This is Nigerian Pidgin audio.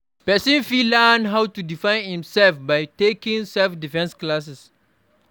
Persin fit learnn how to defend im self by taking self-defence classes